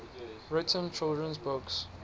written children's books